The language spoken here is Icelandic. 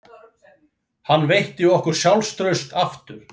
Hann veitti okkur sjálfstraust aftur